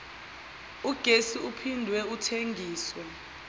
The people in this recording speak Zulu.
ugesi uphinde uthengiswe